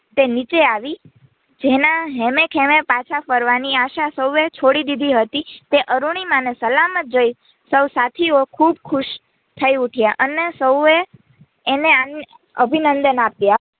તે નીછે આવી. જેના હેમેખેમે પાછા ફરવાની આશા સૌએ છોડી દીધી હતી તે અરુણીમાંને સલામત જોઈ સૌ સાથિયો ખૂબ ખુશ થઈ ઉઠયા અને સૌએ એને આન્ અભિનંદન આપ્યા